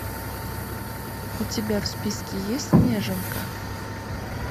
у тебя в списке есть неженка